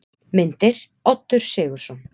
Myndir: Oddur Sigurðsson.